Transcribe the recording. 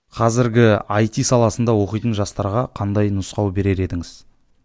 қазірге айти саласында оқитын жастарға қандай нұсқау берер едіңіз